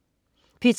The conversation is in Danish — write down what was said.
P3: